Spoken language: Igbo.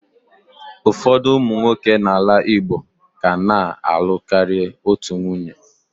Ụfọdụ ụmụ nwoke n'ala Igbo ka na-alụ karịa otu nwunye.